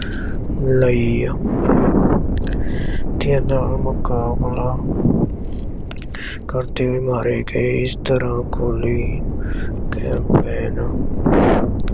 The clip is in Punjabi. ਲਈ ਦੇ ਨਾਲ ਮੁਕਾਬਲਾ ਕਰਦੇ ਹੋਏ ਮਾਰੇ ਗਏ ਇਸ ਤਰ੍ਹਾਂ ਖੋਲ੍ਹੀ ਕੈਂਪਵੇਨ